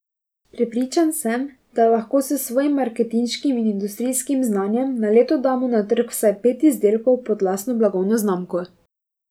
Prepričan sem, da lahko s svojim marketinškim in industrijskim znanjem na leto damo na trg vsaj pet izdelkov pod lastno blagovno znamko.